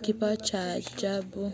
kipawa cha ajabu.